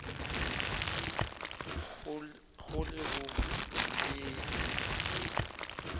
go le o tee yo